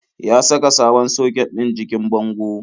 Ya saka sabon soket ɗin jikin bango.